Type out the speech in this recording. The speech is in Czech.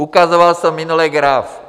Ukazoval jsem minule graf.